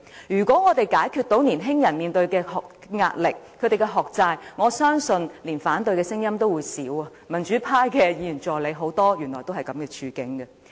如果我們可以解決年青人面對的壓力和學債，我相信連反對的聲音也會減少，而原來很多民主派的議員助理也是這樣的處境。